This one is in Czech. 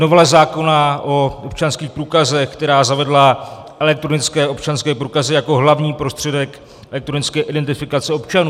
Novela zákona o občanských průkazech, která zavedla elektronické občanské průkazy jako hlavní prostředek elektronické identifikace občanů.